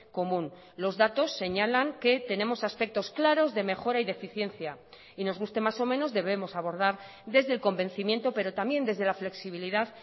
común los datos señalan que tenemos aspectos claros de mejora y de eficiencia y nos guste más o menos debemos abordar desde el convencimiento pero también desde la flexibilidad